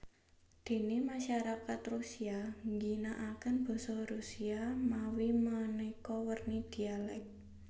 Déné masyarakat Rusia ngginakaken basa Rusia mawi manéka werni dialèk